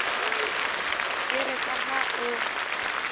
e re ka ha o